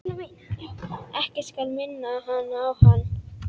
Ekkert skal minna hana á hann.